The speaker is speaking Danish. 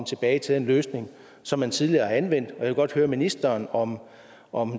tilbage til den løsning som man tidligere har anvendt jeg vil godt høre ministeren om om